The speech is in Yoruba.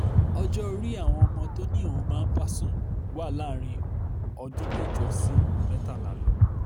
ọjọ́ orí àwọn ọmọ tó ní òun máa ń bá sùn wà láàrin ọdún mẹ́jọ sí mẹ́tàlá lọ